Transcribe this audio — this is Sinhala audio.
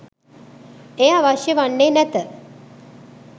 එය අවශ්‍ය වන්නේ නැත.